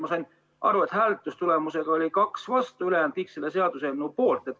Ma sain hääletustulemustest aru, et kaks oli vastu ja kõik ülejäänud olid selle seaduseelnõu poolt.